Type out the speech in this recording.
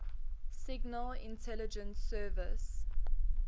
signal intelligence service